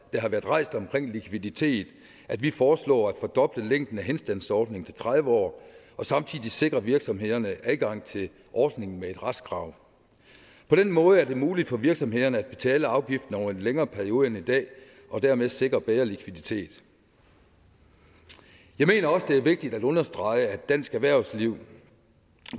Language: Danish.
har været rejst om likviditet at vi foreslår at fordoble længden af henstandsordningen til tredive år samtidig sikrer virksomhederne adgang til ordningen med et retskrav på den måde er det muligt for virksomhederne at betale afgiften over en længere periode end i dag og dermed sikre bedre likviditet jeg mener også det er vigtigt at understrege at dansk erhvervsliv